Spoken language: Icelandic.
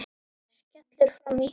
Skellur framan í hann.